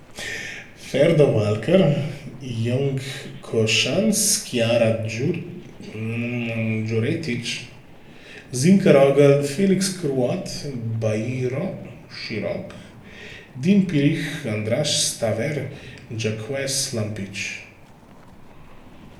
Ferdo Walker, Yong Košanc, Kiara Đuretić, Zinka Rogl, Felix Kraut, Bajro Širok, Din Pirih, Andraž Staver, Jacques Lampič.